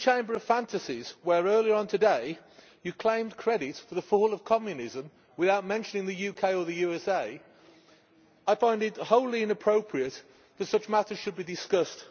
In this chamber of fantasies, where earlier on today Members claimed credit for the fall of Communism without mentioning the UK or the USA, I find it wholly inappropriate that such matters should be discussed.